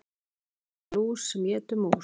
Lilla lús sem étur mús.